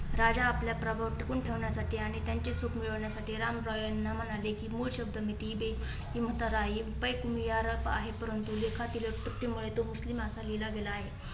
राजा आपल्या प्रभाव टिकून ठेवण्यासाठी आणि त्यांची सुख मिळवण्यासाठी रामराय यांना म्हणाले की आहे. परंतु लेखातील चुकीमुळे तो. मुस्लीम असा लिहिला गेला आहे.